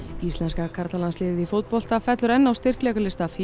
íslenska karlalandsliðið í fótbolta fellur enn á styrkleikalista